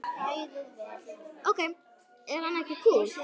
Ok, er hann ekki kúl?